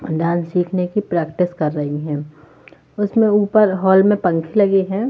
Dance सीखने की practice कर रही है उसमें ऊपर हाल में पंखे लगे है।